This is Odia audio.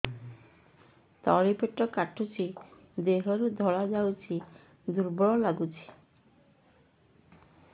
ତଳି ପେଟ କାଟୁଚି ଦେହରୁ ଧଳା ଯାଉଛି ଦୁର୍ବଳ ଲାଗୁଛି